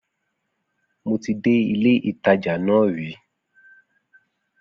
Mo ti dé ilé ìtajà náà rìí